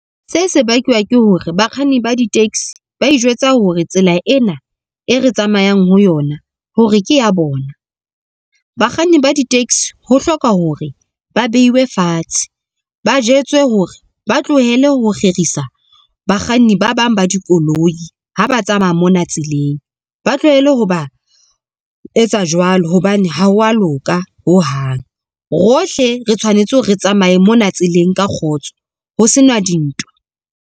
Se se bakwa ke hore, bakganni ba di-taxi ba itjwetsa hore tsela ena e re tsamayang ho yona hore ke ya bona. Bakganni ba di-taxi ho hloka hore ba bewe fatshe, ba jwetswe hore ba tlohele ho kgerisa bakganni ba bang ba dikoloi ha ba tsamaya mona tseleng. Ba tlohele ho ba etsa jwalo hobane ha wa loka ho hang rohle re tshwanetse hore re tsamaye mona tseleng ka kgotso ho sena dintwa.